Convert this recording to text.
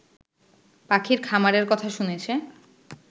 পাখির খামারের কথা শুনেছে